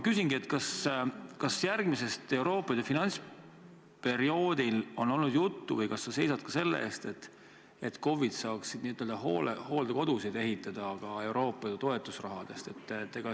Kas järgmise Euroopa Liidu finantsperioodi kohta on olnud juttu või kas sa seisad ka selle eest, et KOV-id saaksid ehitada ka hooldekodusid Euroopa toetusraha eest?